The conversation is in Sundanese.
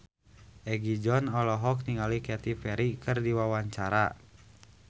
Egi John olohok ningali Katy Perry keur diwawancara